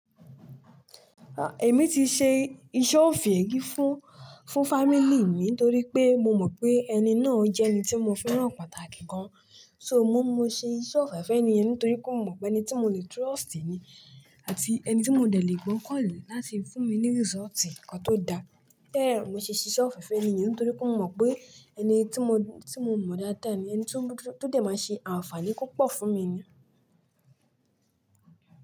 Ah, èmi ti ṣe iṣẹ́ òfe ri fún, fún family mi nítorí pé mo mọ̀ pé ẹni náà jẹ́ ẹni tí mo fẹ́ràn pàtàkì gan. So mo, mo ṣe iṣẹ́ òfẹ́ fun èniyẹn nítorí pé mo mọ̀ pé ẹni tí mo lè trust ni àti ẹni tí mo dẹ̀ lè gbọ́kàn lé láti fún mi ní result kan tó da. Bẹ́ẹ̀ mo ti ṣiṣẹ́ òfẹ́ fun èniyẹn nítorí pé mo mọ̀ pé ẹni tí mo, tí mo mò dáadáa ni, ẹni tí ó dẹ̀ máa ṣe àǹfààní púpọ̀ fún mi ni.